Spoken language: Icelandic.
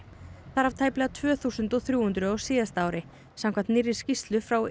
þar af tæplega tvö þúsund og þrjú hundruð á síðasta ári samkvæmt nýrri skýrslu frá